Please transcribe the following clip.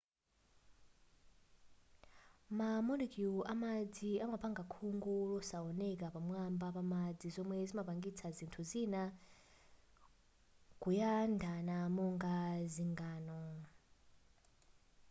ma molecule amadzi amapanga khungu losawoneka pamwamba pamadzi zomwe zimapangisa zinthu zina kuyandama monga zingano